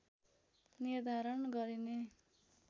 निर्धारण गरिने